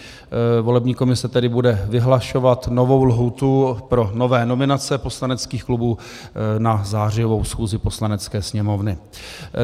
Volební komise tedy bude vyhlašovat novou lhůtu pro nové nominace poslaneckých klubů na zářijovou schůzi Poslanecké sněmovny.